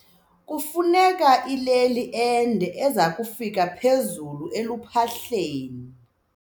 Kufuneka ileli ende eza kufika phezulu eluphahleni.